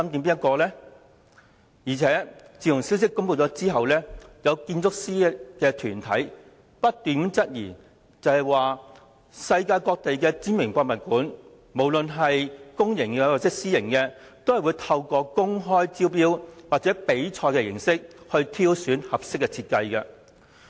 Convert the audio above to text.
此外，自消息公布後，有建築師團體提出質疑，指世界各地的知名博物館，不論公營或私營，也會透過公開招標或比賽方式挑選合適設計。